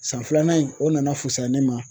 San filanan in o nana fusaya ne ma